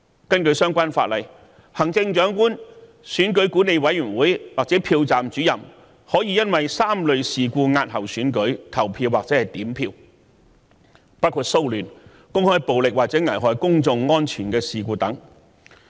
根據相關法例，行政長官、選舉管理委員會或票站主任可因為3類事故押後選舉、投票或點票，包括騷亂、公開暴力或危害公眾安全的事故。